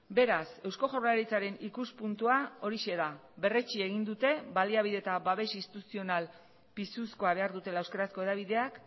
beraz eusko jaurlaritzaren ikuspuntua horixe da berretsi egin dute baliabide eta babes instituzional pisuzkoa behar dutela euskarazko hedabideak